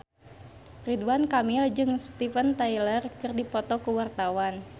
Ridwan Kamil jeung Steven Tyler keur dipoto ku wartawan